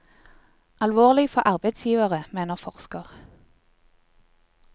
Alvorlig for arbeidsgiverne, mener forsker.